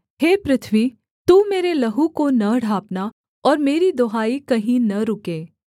हे पृथ्वी तू मेरे लहू को न ढाँपना और मेरी दुहाई कहीं न रुके